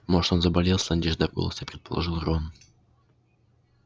может он заболел с надеждой в голосе предположил рон